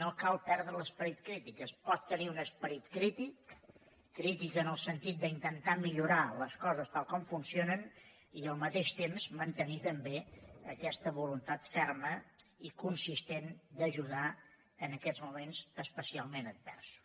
no cal perdre l’esperit crític es pot tenir un esperit crític crític en el sentit d’intentar millorar les coses tal com funcionen i al mateix temps mantenir també aquesta voluntat ferma i consistent d’ajudar en aquests moments especialment adversos